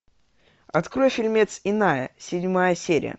открой фильмец иная седьмая серия